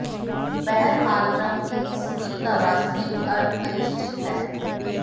बहरहाल ट्रंप के इस ट्वीट का वास्तविक अर्थ अनिश्चित है